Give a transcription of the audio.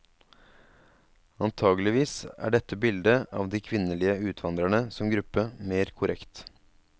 Antakeligvis er dette bildet av de kvinnelige utvandrerne som gruppe mer korrekt.